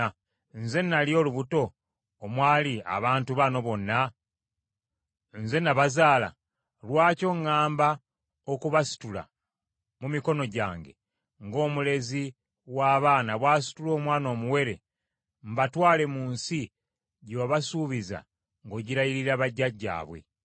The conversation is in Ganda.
Nze nali olubuto omwali abantu bano bonna? Nze nabazaala? Lwaki oŋŋamba okubasitula mu mikono gyange ng’omulezi w’abaana bw’asitula omwana omuwere mbatwale mu nsi gye wabasuubiza ng’ogirayirira bajjajjaabwe?